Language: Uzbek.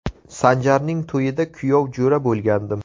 Sanjarning to‘yida kuyov jo‘ra bo‘lgandim.